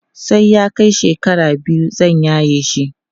sai ya Kai shekara biyu zan yaye shi